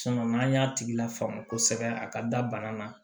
n'an y'a tigi lafaamuya kosɛbɛ a ka da bana na